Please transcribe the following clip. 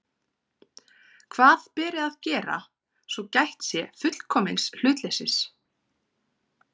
Hvað beri að gera, svo gætt sé fullkomins hlutleysis?